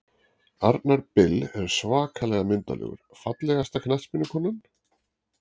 Arnar Bill er svakalega myndarlegur Fallegasta knattspyrnukonan?